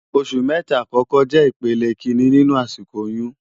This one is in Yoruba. Óṣù mètá àkòkò jè ipélé ikiiní ninú àsikó óyùn